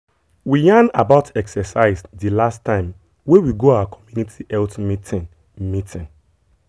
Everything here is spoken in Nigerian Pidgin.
we yarn about exercise the last time wey we go our communiity health meeting. meeting.